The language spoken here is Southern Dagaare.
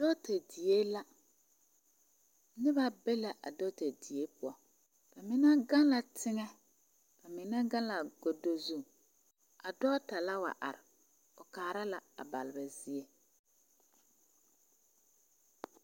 Dɔɔta die la noba be la a dɔɔta die poɔ ba mine gaŋ la teŋa ba mine gaŋ laa kodo zu a dɔɔta la wa are o kaara la a baleba zie